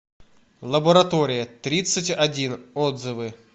лаборатория тридцать один отзывы